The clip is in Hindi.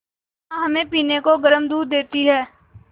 माँ हमें पीने को गर्म दूध देती हैं